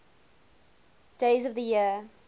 days of the year